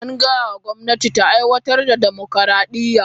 An gaya wa gwamnati ta aiwatar da dimokuradiyya.